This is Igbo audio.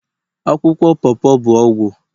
akwụkwọ pawpaw bụ ọgwụ